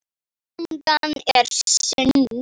Gangan er sund.